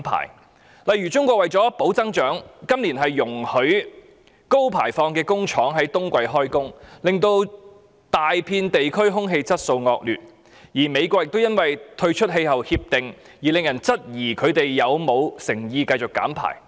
舉例而言，中國為了保持經濟增長，今年容許高排放的工廠在冬季工作，令到大片地區空氣質素惡劣，而美國亦因為退出全球應對氣候變化的《巴黎協定》，令人質疑其繼續減排的誠意。